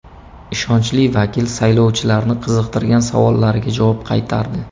Ishonchli vakil saylovchilarni qiziqtirgan savollariga javob qaytardi.